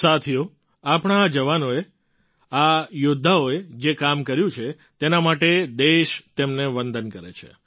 સાથીઓ આપણા આ જવાનોએ આ યૌદ્ધાઓએ જે કામ કર્યું છે તેના માટે દેશ તેમને વંદન કરે છે